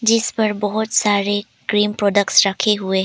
जिस पर बहुत सारे क्रीम प्रोडक्ट्स रखे हुए हैं।